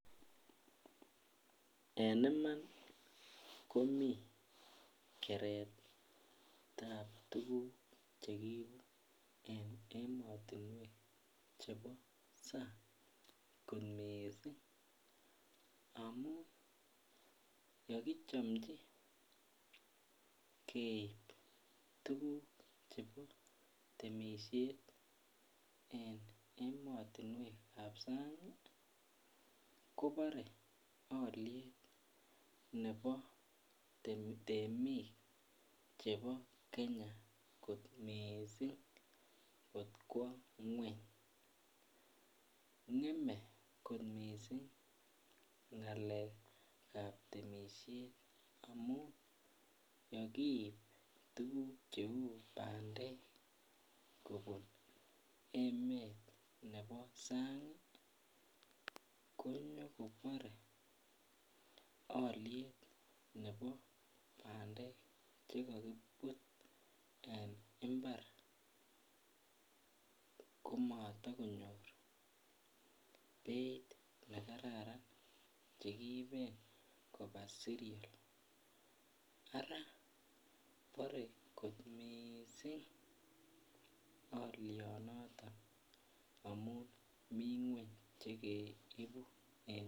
En Iman komi keretab tuguk Che kiibu en emotinwek chebo sang kot mising amun ye kichomji keib tuguk chebo temisiet en emotinwek ab sang kobore alyet nebo temik chebo kenya kot mising kot kwo ngwony ngemei kot mising ngalekab ab temisiet amun yekiib tuguk Cheu bandek kobun emet nebo sang konyokobore alyet nebo bandek Che kakibut en mbar komotokonyor beit nekaran Che kiiben koba seriol Ara bore kot mising alyonoto amun mi ngwony Che keibu